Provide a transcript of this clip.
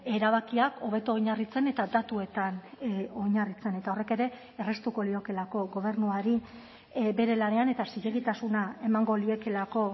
erabakiak hobeto oinarritzen eta datuetan oinarritzen eta horrek ere erraztuko liokelako gobernuari bere lanean eta zilegitasuna emango liekelako